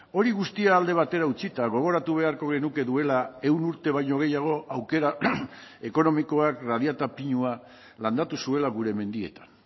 hori guztia alde batera utzita gogoratu beharko genuke duela ehun urte baino gehiago aukera ekonomikoak radiata pinua landatu zuela gure mendietan